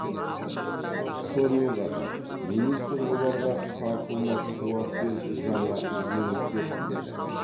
сонымен қатар министр оларға сарқылмас қуат пен жаңа жеңістер тіледі